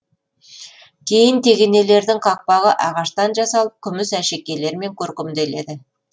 кейбір тегенелердің қақпағы ағаштан жасалып күміс әшекейлермен көркемделеді